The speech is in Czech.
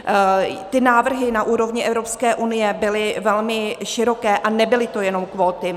Ty návrhy na úrovni Evropské unie byly velmi široké a nebyly to jenom kvóty.